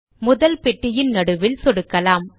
முதல் பெட்டியின் நடுவில் சொடுக்கலாம்